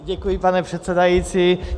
Děkuji, pane předsedající.